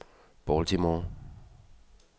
Baltimore